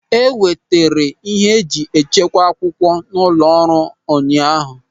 E wetara ịhe e ji echekwa akwụkwọ nọ n'ụlọ ọrụ ụnyaahụ.